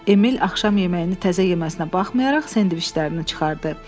Emil axşam yeməyini təzə yeməsinə baxmayaraq, sendviçlərini çıxardı.